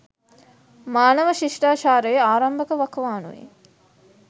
මානව ශිෂ්ටාචාරයේ ආරම්භක වකවානුවේ